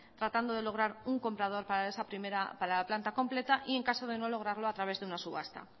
tratando de lograr un comprador para esa primera planta completa y en el caso de no lograrlo a través de una subasta